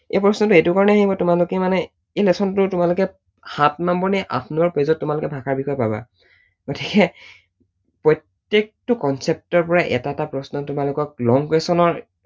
এই প্ৰশ্নটো এইটো কাৰণেই আহিব তোমালোকে মানে, এই lesson টো তোমালোকে সাত নম্বৰ নে আঠ নম্বৰ page ত তোমালোকে ভাষাৰ বিষয়ে পাবা, গতিকে প্ৰত্যেকটো concept ৰ পৰাই এটা এটা প্ৰশ্ন তোমালোকক long question ৰ